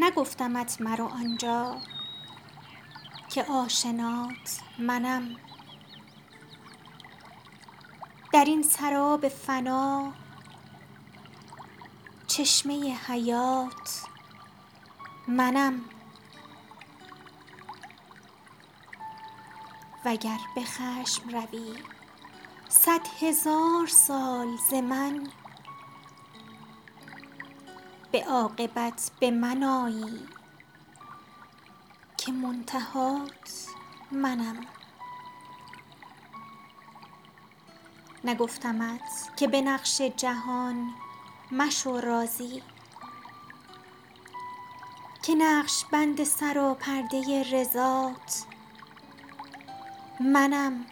نگفتمت مرو آنجا که آشنات منم در این سراب فنا چشمه حیات منم وگر به خشم روی صدهزار سال ز من به عاقبت به من آیی که منتهات منم نگفتمت که به نقش جهان مشو راضی که نقش بند سراپرده رضات منم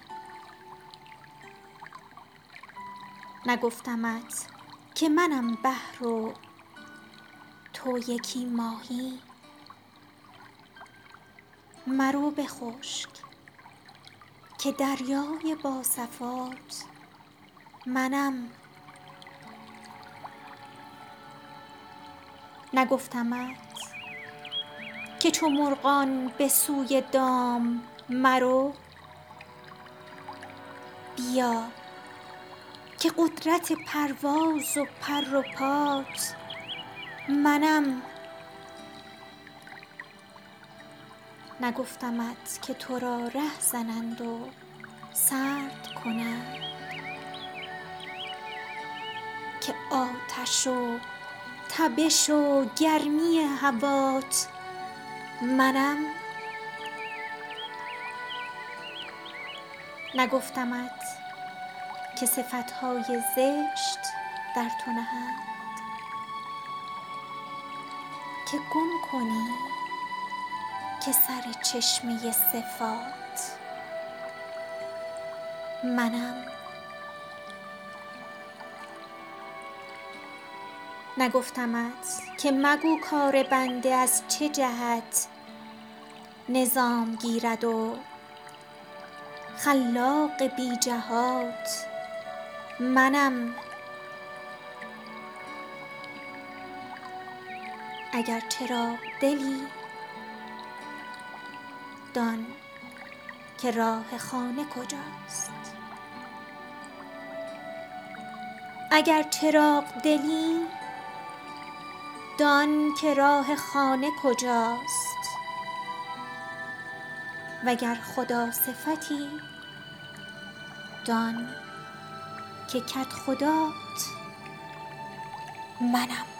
نگفتمت که منم بحر و تو یکی ماهی مرو به خشک که دریای با صفات منم نگفتمت که چو مرغان به سوی دام مرو بیا که قدرت پرواز و پر و پات منم نگفتمت که تو را ره زنند و سرد کنند که آتش و تبش و گرمی هوات منم نگفتمت که صفت های زشت در تو نهند که گم کنی که سر چشمه صفات منم نگفتمت که مگو کار بنده از چه جهت نظام گیرد خلاق بی جهات منم اگر چراغ دلی دان که راه خانه کجاست وگر خداصفتی دان که کدخدات منم